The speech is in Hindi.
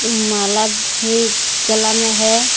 माला भी गला में है।